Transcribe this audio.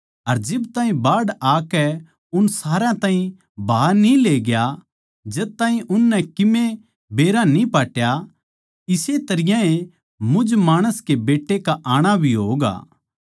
अर जिब ताहीं बाढ़ आकै उन सारया ताहीं बहा न्ही लेग्या जद ताहीं उननै किमे बेरा न्ही पाट्या इस्से तरियां ए मुझ माणस के बेट्टे का आणा भी होगा